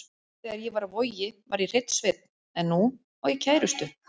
Þegar ég var á Vogi var ég hreinn sveinn en nú á ég kærustu.